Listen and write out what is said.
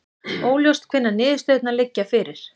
Óljóst hvenær niðurstöðurnar liggja fyrir